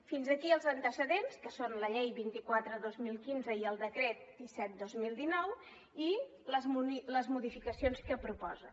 fins aquí els antecedents que són la llei vint quatre dos mil quinze i el decret disset dos mil dinou i les modificacions que proposen